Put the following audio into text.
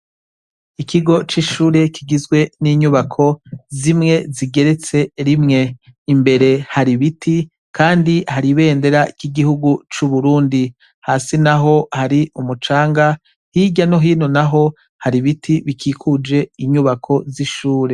Ikigo c ishure kigizwe n'inyubako zimwe zigeretse rimwe, imbere har' ibiti kandi har' ibendera ry 'igihugu cu Burundi, hasi naho har'umucanga, hirya no hino naho har' ibiti bikikuj' inyubako z ishure.